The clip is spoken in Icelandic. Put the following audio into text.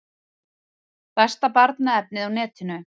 Besta barnaefnið á netinu